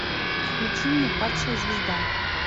включи мне падшая звезда